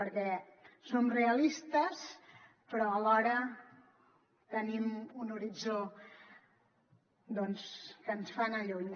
perquè som realistes però alhora tenim un horitzó que ens fa anar lluny